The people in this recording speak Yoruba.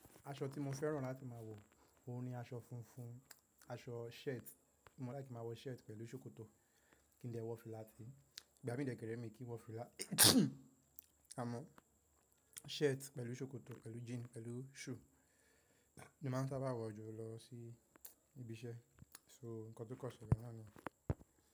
Aṣọ tí mo fẹ́ràn láti máa wọ, òun ni aṣọ funfun, aṣọ shirt. Mo like kí n máa wọ shirt pẹ̀lú ṣòkòtò, kí n dẹ wọ fìlà tí. Ìgbà mí dẹ̀ kẹ rè mí kí n wọ fìlà. A mọ, shirt pẹ̀lú ṣòkòtò pẹ̀lú jean pẹ̀lú shoe. Ni màá ń sábà wọ̀ jù lọ sí ibi iṣẹ́. So nǹkan tó kọ̀ sele nàá ni.